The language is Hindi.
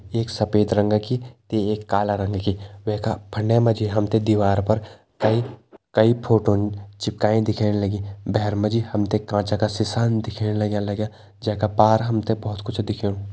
एक सफ़ेद रंगा कि ते एक काला रंग कि वै का फंडे मा जी हम ते दिवार पर कई कई फोटोन चिपकाईं दिखेण लगीं भैर मा जी हम ते कांचा का सिसान दिखेण लग्यां लग्यां जै का पार हम ते बहोत कुछ दिखेणु।